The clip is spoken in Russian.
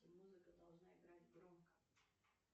музыка должна играть громко